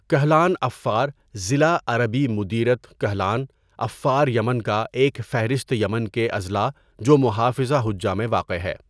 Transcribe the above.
Kuhlan Affar ضلع عربی مديرية كحلان عفار یمن کا ایک فہرست یمن کے اضلاع جو محافظہ حجہ میں واقع ہے.